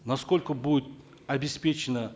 насколько будет обеспечено